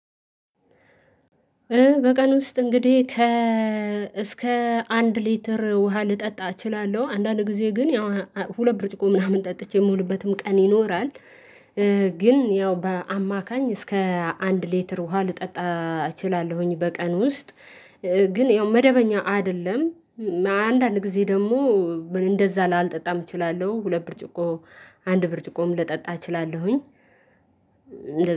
በቀን ውስጥ እንግዲህ ከ እስከ አንድ ሊትር ውሃ ልጠጣ እችላለሁ አንዳንድ ጊዜ ግን ያው ሁለት ብርጭቆ ምናምን ጠጥቼ የምውልበትም ቀን ይኖራል። ግን ያው በአማካኝ እስከ አንድ ሊትር ውሃ ልጠጣ እችላለሁኝ በቀን ውስጥ። ግን ያው መደበኛ አይደለም። አንዳንድ ጊዜ ደግሞ እንደዛ ላልጠጣም እችላለሁ ሁለት ብርጭቆ አንድ ብርጭቆም ልጠጣ እችላለሁኝ።